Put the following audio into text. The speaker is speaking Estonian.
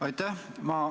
Aitäh!